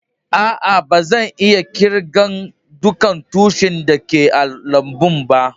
Aa, ba zan iya kirgan dukan tushin da ke a'lambun ba.